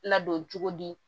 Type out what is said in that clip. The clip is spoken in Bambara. Ladon cogo di